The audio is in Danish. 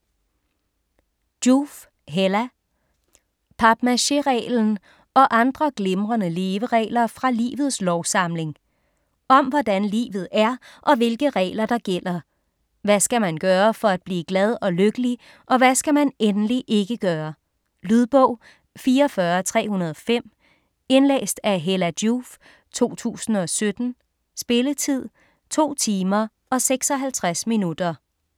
Joof, Hella: Papmaché-reglen: og andre glimrende leveregler fra livets lovsamling Om hvordan livet er og hvilke regler, der gælder. Hvad skal man gøre for at blive glad og lykkelig og hvad skal man endelig ikke gøre. Lydbog 44305 Indlæst af Hella Joof, 2017. Spilletid: 2 timer, 56 minutter.